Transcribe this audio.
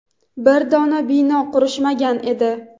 bir dona bino qurishmagan edi.